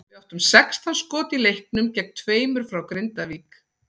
Við áttum sextán skot í leiknum gegn tveimur frá Grindavík.